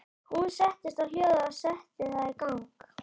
Hún settist á hjólið og setti það í gang.